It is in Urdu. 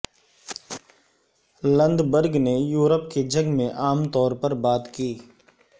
لندبرگ نے یورپ کے جنگ میں عام طور پر بات کی